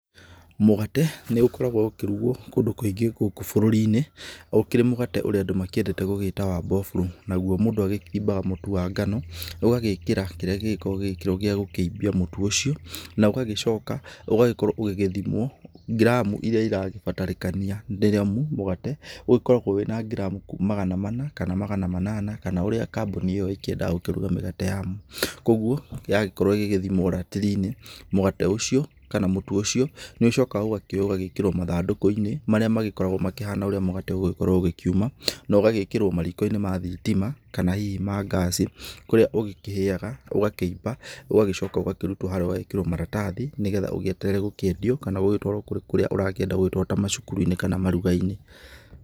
Mũgate, nĩ ũkoragwo ũkĩrugwo kũndũ kũingĩ gũkũ bũrũri-inĩ, ũkĩrĩ mũgate ũrĩa andũ makĩendete gũgĩĩta wa mbofurũ. Naguo mũndũ agĩkimbaga mũtu wa ngano, ũgagĩĩkĩra kĩrĩa gĩgĩkoragwo gĩgĩĩkĩrwo gĩa gũkĩimbia mũtu ũcio, na ũgagĩcoka ũgagĩkorwo ũgĩgĩthimwo, giramũ iria irabatarĩkania, rĩrĩa mũgate ũgĩkoragwo wĩ na ngiramu magana mana kana magana manana, kana ũrĩa kambuni ĩyo ĩkĩendaga gũkĩruga mĩgate yao. Kũguo, yagĩkorwo ĩgĩgĩthimwa ratiri-inĩ, mũgate ũcio, kana mũtũ ũcio, nĩ ũcokaga ũgakioywo ũgagĩkĩrwo mathandũkũ-inĩ marĩa makoragwo makĩhana ta ũrĩa mũgate ũgũgĩkorwo ũkiuma, na ũgagĩĩkĩrwo mariko-inĩ ma thitima kana hihi ma gas kũrĩa ũgũkĩhĩaga, ũgakĩimba, ũgagĩcoka ũgakĩrutwo harĩa ũgagĩĩkĩrwo maratathi nĩ getha ũgĩeterere gũkĩendio kana gũgĩtwarwo kũrĩa ũrakĩenda gũgĩtwarwo ta macukuru-inĩ kana maruga-inĩ.